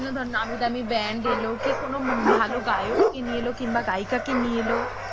বিনোদন নামিদামি band এলো কি কোন ভালো গায়ককে নিয়ে এলো বা গায়িকাকে নিয়ে এলো।